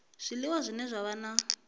zwiliwa zwine zwa vha na